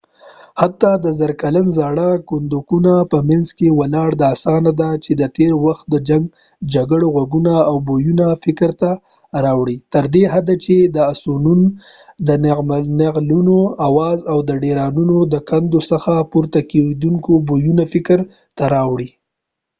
حتی د زره کلن زاړه کنډکونو په مینځ کې ولاړ دا اسانه ده چې د تېر وخت د جنګ جګړو غږونه او بویونه فکر ته راوړو تر دې حده چې د اسونون د نعلونو آواز او د ډيرانونو د کندو څخه پورته کېدونکي بويونه فکر ته راوړو